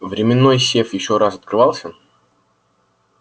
временной сейф ещё раз открывался